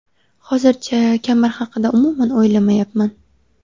Hozircha kamar haqida umuman o‘ylamayapman.